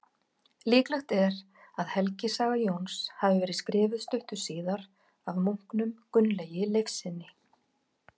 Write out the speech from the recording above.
Líklegt er að helgisaga Jóns hafi verið skrifuð stuttu síðar af munknum Gunnlaugi Leifssyni.